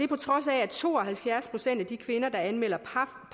på trods af at to og halvfjerds procent af de kvinder der anmelder